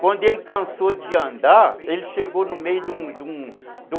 Quando ele cansou de andar, ele chegou no meio de um de um